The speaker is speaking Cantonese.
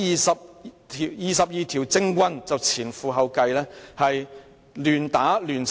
'，這廿二條政棍就前仆後繼，亂打亂砌！